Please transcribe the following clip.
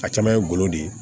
A caman ye golo de ye